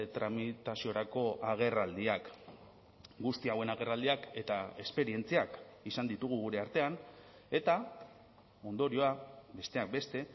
tramitaziorako agerraldiak guzti hauen agerraldiak eta esperientziak izan ditugu gure artean eta ondorioa besteak beste